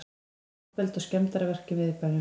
Ofbeldi og skemmdarverk í miðbænum